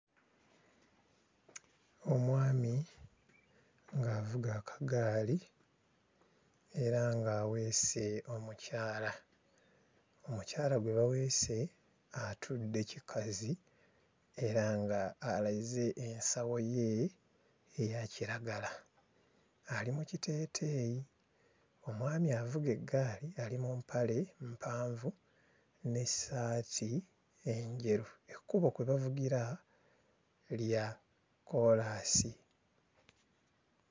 Omwami ng'avuga akagaali era ng'aweese omukyala. Omukyala gwe baweese atudde kikazi era ng'aleze ensawo ye eya kiragala. Ali mu kiteeteeyi, omwami avuga eggaali ali mu mpale mpanvu n'essaati enjeru; ekkubo kwe bavugira lya kkoolaasi.